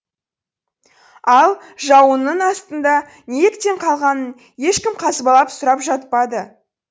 ал жауынның астында неліктен қалғанын ешкім қазбалап сұрап жатпады